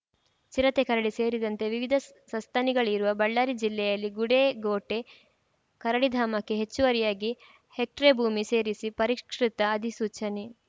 ಚಿರತೆ ಕರಡಿ ಸೇರಿದಂತೆ ವಿವಿಧ ಸಸ್ತನಿಗಳಿರುವ ಬಳ್ಳಾರಿ ಜಿಲ್ಲೆಯಲ್ಲಿ ಗುಡೇಕೋಟೆ ಕರಡಿಧಾಮಕ್ಕೆ ಹೆಚ್ಚುವರಿಯಾಗಿ ಹೆಕ್ಟೇರ್‌ ಭೂಮಿ ಸೇರಿಸಿ ಪರಿಷ್ಕೃತ ಅಧಿಸೂಚನೆ